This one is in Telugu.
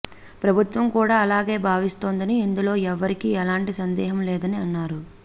ప్రభుత్వం కూడా అలాగే భావిస్తోందని ఇందులో ఎవ్వరికీ ఎలాంటి సందేహం లేదని అన్నారు